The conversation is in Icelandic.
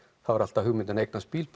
þá var alltaf hugmyndin að eignast bíl